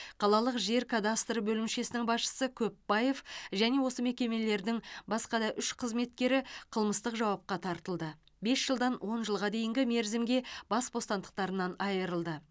қалалық жер кадастры бөлімшесінің басшысы көпбаев және осы мекемелердің басқа да үш қызметкері қылмыстық жауапқа тартылды бес жылдан он жылға дейінгі мерзімге бас бостандықтарынан айырылды